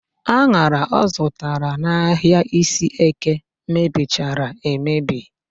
An̄ara ọ zụtara n'ahịa Iseeke mebichara emebi